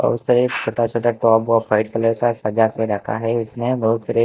और उस छोटा-छोटा टॉप ऑफ वाइट कलर का सजा के रखा है उसने बहुत सारे --